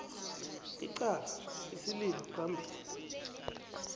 icala isililo phambili